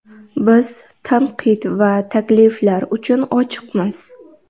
Biz tanqid va takliflar uchun ochiqmiz.